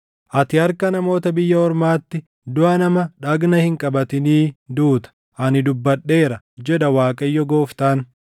Ati harka namoota biyya ormaatti duʼa nama dhagna hin qabatinii duuta. Ani dubbadheera, jedha Waaqayyo Gooftaan.’ ”